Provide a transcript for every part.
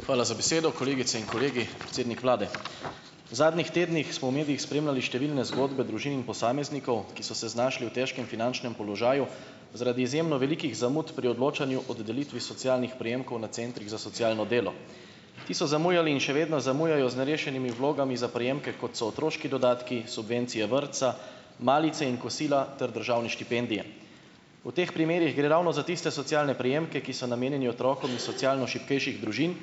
Hvala za besedo, kolegice in kolegi, predsednik vlade. V zadnjih tednih smo v medijih spremljali številne zgodbe družin in posameznikov, ki so se znašli v težkem finančnem položaju zaradi izjemno velikih zamud pri odločanju od delitvi socialnih prejemkov na centrih za socialno delo. Ti so zamujali in še vedno zamujajo z nerešenimi vlogami za prejemke, kot so otroški dodatki, subvencije vrtca, malice in kosila ter državne štipendije. V teh primerih gre ravno za tiste socialne prejemke, ki so namenjeni otrokom iz socialno šibkejših družin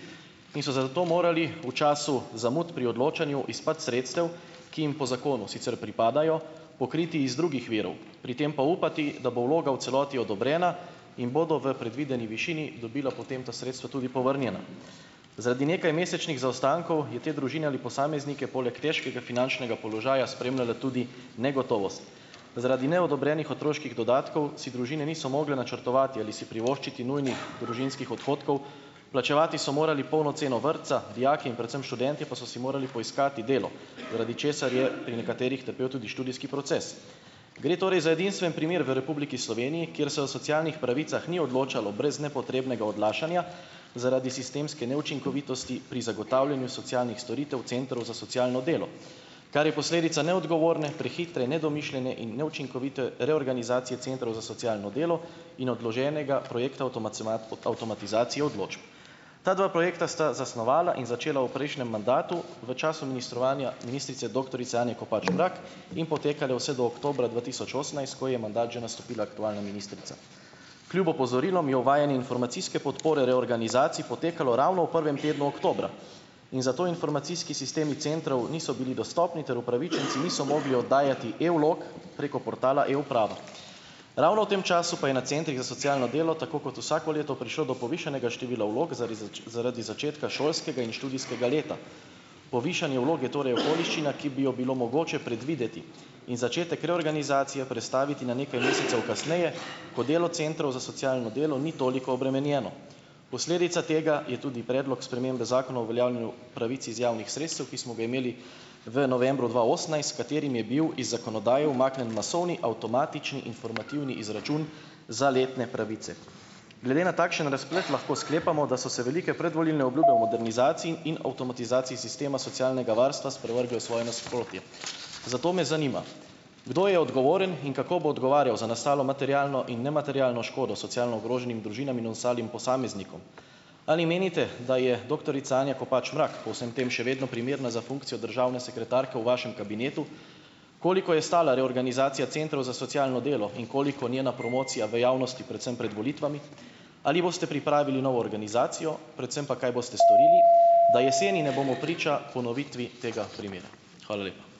in so se zato morali v času zamud pri odločanju izpad sredstev, ki jim po zakonu sicer pripadajo, pokriti iz drugih virov, pri tem pa upati, da bo vloga v celoti odobrena in bodo v predvideni višini, dobili potem ta sredstva tudi povrnjena. Zaradi nekajmesečnih zaostankov je te družine ali posameznike poleg težkega finančnega položaja spremljala tudi negotovost. Zaradi neodobrenih otroških dodatkov si družine niso mogle načrtovati ali si privoščiti nujnih družinskih odhodkov, plačevati so morali polno ceno vrtca, dijaki in predvsem študentje pa so si morali poiskati delo, zaradi česar je pri nekaterih trpel tudi študijski proces. Gre torej za edinstven primer v Republiki Sloveniji, kjer se o socialnih pravicah ni odločalo brez nepotrebnega odlašanja zaradi sistemske neučinkovitosti pri zagotavljanju socialnih storitev centrov za socialno delo. Kar je posledica neodgovorne, prehitre, nedomišljene in neučinkovite reorganizacije centrov za socialno delo in odloženega projekta avtomatizacije odločb. Ta dva projekta sta zasnovala in začela v prejšnjem mandatu v času ministrovanja ministrice doktorice Anje Kopač Mrak in potekale vse do oktobra dva tisoč osemnajst, ko je mandat že nastopila aktualna ministrica. Kljub opozorilom je uvajanje informacijske podpore reorganizacij potekalo ravno v prvem tednu oktobra in zato informacijski sistemi centrov niso bili dostopni ter upravičenci niso mogli oddajati e-vlog preko portala E-uprava. Ravno v tem času pa je na centrih za socialno delo, tako kot vsako leto, prišlo do povišanega števila vlog, zaradi zaradi začetka šolskega in študijskega leta. Povišanje vlog je torej okoliščina, ki bi jo bilo mogoče predvideti in začetek reorganizacije prestaviti na nekaj mesecev kasneje, ko delo centrov za socialno delo ni toliko obremenjeno. Posledica tega je tudi predlog spremembe Zakona o uveljavljanju pravic iz javnih sredstev, ki smo ga imeli v novembru dva osemnajst, s katerim je bil iz zakonodaje umaknjen masovni, avtomatični informativni izračun za letne pravice. Glede na takšen razplet lahko sklepamo, da so se velike predvolilne obljube o modernizaciji in o avtomatizaciji sistema socialnega varstva sprevrgle v svoje nasprotje. Zato me zanima, kdo je odgovoren in kako bo odgovarjal za nastalo materialno in nematerialno škodo socialno ogroženim družinam in ostalim posameznikom? Ali menite, da je doktorica Anja Kopač Mrak po vsem tem še vedno primerna za funkcijo državne sekretarke v vašem kabinetu? Koliko je stala reorganizacija centrov za socialno delo in koliko njena promocija v javnosti, predvsem pred volitvami? Ali boste pripravili novo organizacijo, predvsem pa kaj boste storili, da jeseni ne bomo priča ponovitvi tega primera? Hvala lepa.